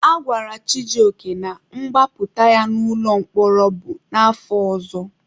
A gwara Chijioke na mgbapụta ya n'ụlọ mkpọrọ bụ n'afọ ọzọ.